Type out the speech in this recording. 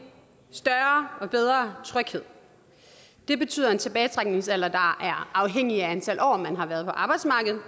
større og bedre tryghed det betyder en tilbagetrækningsalder der er afhængig af antal år man har været på arbejdsmarkedet